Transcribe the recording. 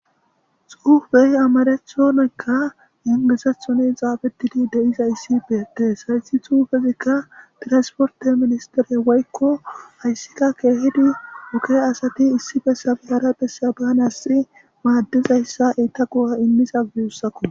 Xuufey amarathonika ingilizathon xaaxetidi de'izays beetes. Hesi xuufezika tiransperte ministeri woyko oge asati issi bessappe hara bessan banasi maadizaysa eeta go'a immizaysa guusako.